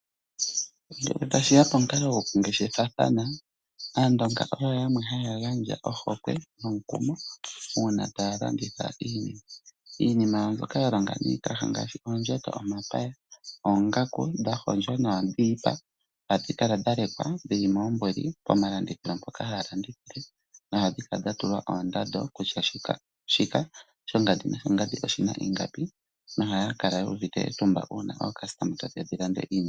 Ngele tashi ya pomukalo gokungeshefathana Aandonga oyo yamwe haya gandja ohokwe nomukumo, uuna taya landitha iinima mbyoka ya longa niikaha ngaashi: oondjato, omapaya, oonagaku dha hondjwa naandhi dhiipa. Ohadhi kala ya lekwa pomalandithilo mpoka haya landithile nohayi kala ya tulwa oondando kutya shika, shongandi noshongandi oshi na ingapi. Ohaya kala yu uvite etumba ngele aalandi taye ya ya lande iinima.